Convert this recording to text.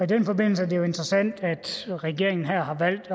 den forbindelse er det jo interessant at regeringen har valgt